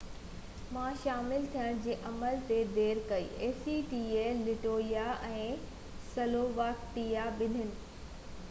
Latvia ۽ Slovakia ٻنين acta ۾ شامل ٿيڻ جي عمل ۾ دير ڪئي